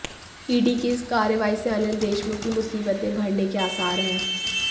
ED की इस कार्रवाई से अनिल देशमुख की मुसीबतें बढऩे के आसार हैं